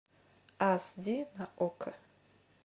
ас ди на окко